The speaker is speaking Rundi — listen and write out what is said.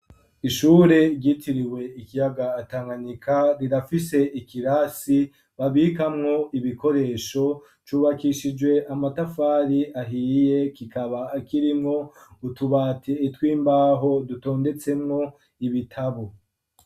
Kw'ishure ryitiriwe ikiyaga tanganyika rirafise ikirasi babikamwo ibikoresho cubakishijwe amatafari ahiye kikaba kirimwo utubati tw'imbaho dutondetsemwo ibitabo.